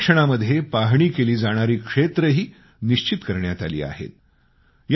या सर्वेक्षणामध्ये पाहणी केली जाणारी क्षेत्रंही निश्चित करण्यात आली आहे